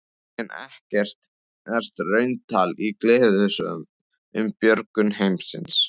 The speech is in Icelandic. En ekkert raunatal í gleðisögu um björgun heimsins.